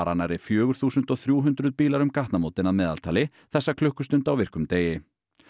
nærri fjögur þúsund þrjú hundruð bílar um gatnamótin að meðaltali þessa klukkustund á virkum degi